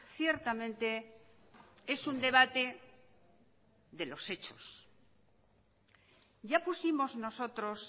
ciertamente es un debate de los hechos ya pusimos nosotros